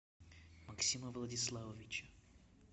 максима владиславовича